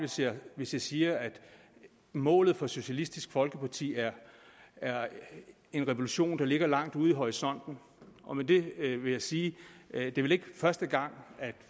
hvis jeg siger at målet for socialistisk folkeparti er er en revolution der ligger langt ude i horisonten og med det vil jeg sige at det vel ikke er første gang at